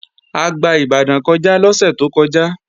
A gba Ìbàdàn kọjá lọ́sẹ̀ tó kọjá